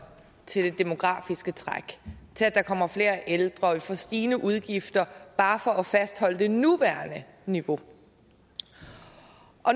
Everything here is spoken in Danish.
til det demografiske træk til at der kommer flere ældre og at vi får stigende udgifter bare for at fastholde det nuværende niveau